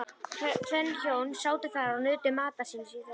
Tvenn hjón sátu þar og nutu matar síns í þögn.